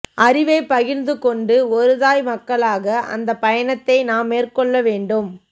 அறிவைப் பகிர்ந்து கொண்டு ஒரு தாய் மக்களாக அந்த பயணத்தை நாம் மேற்கொள்ள வேண்டும்